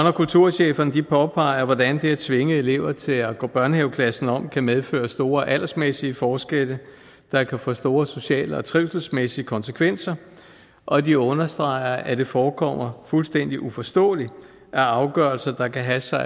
og kulturchefforeningen påpeger hvordan det at tvinge elever til at gå børnehaveklassen om kan medføre store aldersmæssige forskelle der kan få store sociale og trivselsmæssige konsekvenser og de understreger at det forekommer fuldstændig uforståeligt at afgørelser der kan have så